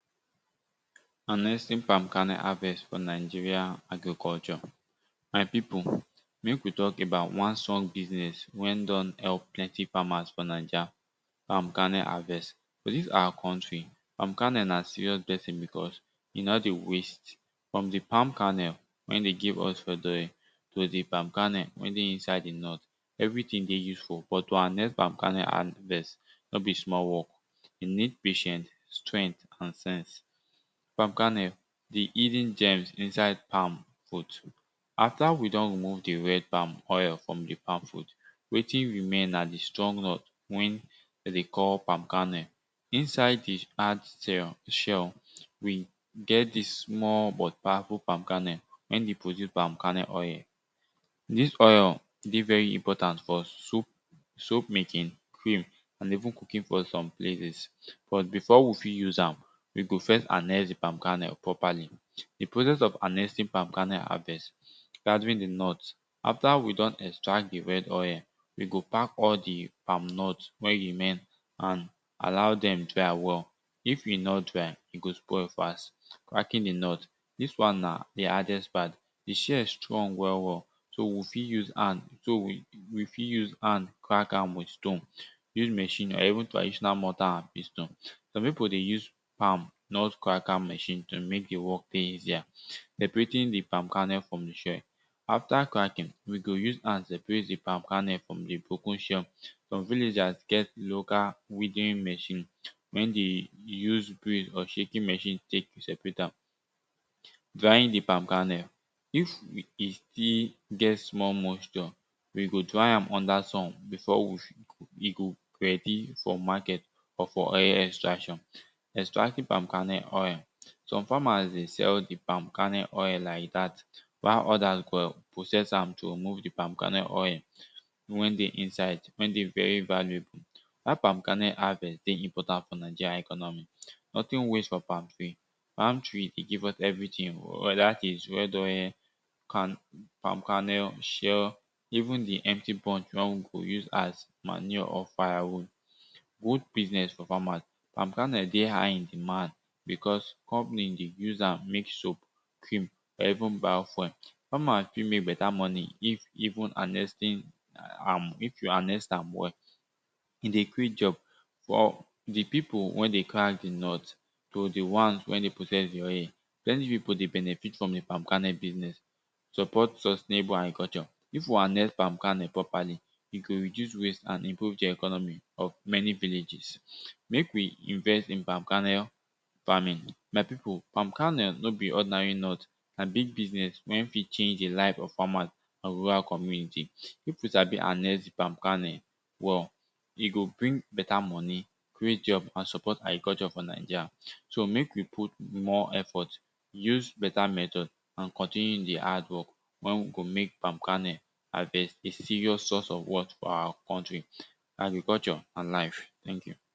harnessing palm karnnel harvest for nigeria agriculture. my pipu mek we talk about one strong business wen don help plennty farmers for niger palm karnnel harvest. for dis our country palm karnnel na serious blessing because e no dey waste from di palm karnnel wen dey give us red oil to di palm karnnel wen dey inside di nut everyting dey useful but to harnes palm karnnel no be small work e need patient, strength and sense. palm karnnel di hidden germs inside palm for two after we don remove di red palm oil from di palm fuit, wetin remain na di strong nut wey den dey call palm karnnel inside di hard shell we get dis small but powerful palmkarnnel wey dey produce palm karnel oil dis oil dey very important for us soap making, and even cooking for some places. but before we fit use am, we go first harnest di palm karnnel properly, di process of harnesting palm karnel harvest gathering di nut after we don extract di red oil, we go pack all di palm nut wen remain and allow dem dry well, if e no dry, e go spoil fast. cracking di nut dis won na di hardest part di shell strong well well so we fit use hand so we fit, use hand crack am with stone.use machine or even trditional mortal and pistle some pipu dey use palm nut cracker machine to mek di work dey easier. seperating di palm karnnel from di shell. after cracking, we go use hand seperat di pam kannel from di broken shell. some villagers get local weeding machin wen de use brain or shaking machine tek seperate am. drying di palm karnel. if we still get small moisture, we go dry am under sun before e go ready for market or for any extraction. extracting palm karnnel oil some farmers dey sell di palm karnnel oil like dat while others go process am to move di palm karnnel oil wen dey inside wen dey very valuable. dat palm karnnel harvest dey important for nigeria economy. nothing waste for palm tree. palm tree e give us everyting weda its is red oil, kan pam karnnel, shell even di empty bunch were we go use as manure or fire wood good business for farmers palm karnnel dey hgh in demand because company dey use am mek soap, cream or even bio-fuel. farmer fit mek beta moni if even harnessing am well if you harness am well. e dey creat jobs for di pipu wen dey crack di nut to di ones wey dey process di oil, plenty pipu dey benefit from di palm karnel business. support such labour agriculture. if we harnest palm karnnel properly, e go reduce waste and improve di economy of many villages. mek we invest in palm karnnel farming. my pipu palm karnnel no be ordinary nut, na big businees wen fit change di life of farmers and rural commuity. if we sabi harnest di palm karnel well, e go bring beta moni, create job and support agriculture for nigeria so mek we put more effort use beta method and continue in di hard work wey we go mek palm karnel harvest a serious source of wealth for our country, agriculture and life thank you.